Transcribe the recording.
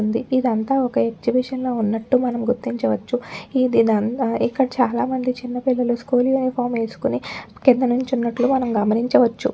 ఉంది ఇదంతా ఒక్క ఎగ్జిబిషన్ లా వున్నటు మనం గుర్తించవచ్చు ఇదంతా ఇక్కడ చాలా మంది చిన్న పిల్లలు స్కూల్ యూనిఫాం ఏసుకొని కింద నిలుచున్నటు మనం గమనించవచ్చు.